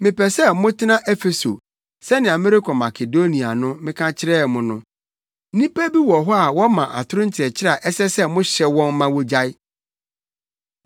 Mepɛ sɛ motena Efeso sɛnea merekɔ Makedonia no meka kyerɛɛ mo no. Nnipa bi wɔ hɔ a wɔma atoro nkyerɛkyerɛ a ɛsɛ sɛ mohyɛ wɔn ma wogyae.